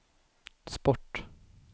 sport